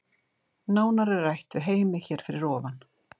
Nánar er rætt við Heimi hér fyrir ofan.